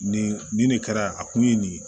Nin nin de kɛra a kun ye nin ye